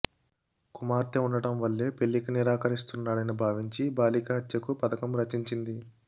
కుమార్తె ఉండటం వల్లే పెళ్లికి నిరాకరిస్తున్నాడని భావించి బాలిక హత్యకు పథకం రచించింది